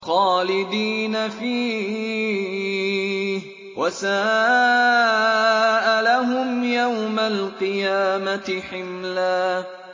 خَالِدِينَ فِيهِ ۖ وَسَاءَ لَهُمْ يَوْمَ الْقِيَامَةِ حِمْلًا